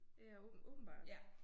Ja åbenbart